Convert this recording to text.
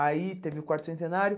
Aí teve o quarto centenário.